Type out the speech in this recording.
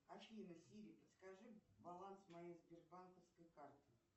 афина сири подскажи баланс моей сбербанковской карты